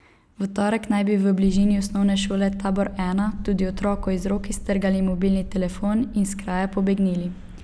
V torek naj bi v bližini Osnovne šole Tabor I tudi otroku iz rok iztrgali mobilni telefon in s kraja pobegnili.